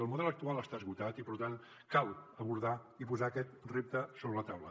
el model actual està esgotat i per tant cal abordar i posar aquest repte sobre la taula